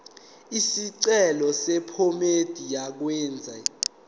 isicelo sephomedi yokwenze